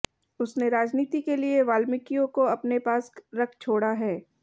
उसने राजनीति के लिए वाल्मीकियों को अपने पास रख छोड़ा है